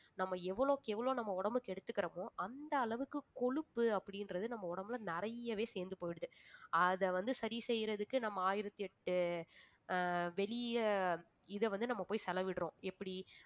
நம்ம எவ்வளவுக்கு எவ்வளவு நம்ம உடம்பை கெடுத்துக்கிறோமோ அந்த அளவுக்கு கொழுப்பு அப்பிடின்றது நம்ம உடம்புல நிறையவே சேர்ந்து போயிடுது அதை வந்து சரி செய்யறதுக்கு நம்ம ஆயிரத்தி எட்டு ஆஹ் வெளிய இதை வந்து நம்ம போய் செலவிடுறோம் எப்படி